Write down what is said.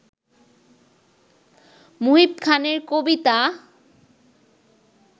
মুহিব খানের কবিতা